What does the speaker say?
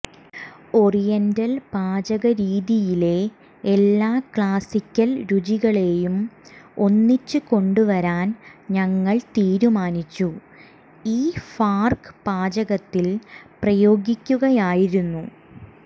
oriental പാചകരീതിയിലെ എല്ലാ classical രുചികളേയും ഒന്നിച്ച് കൊണ്ടുവരാൻ ഞങ്ങൾ തീരുമാനിച്ചു ഈ ഫാർക് പാചകത്തിൽ പ്രയോഗിക്കുകയായിരുന്നു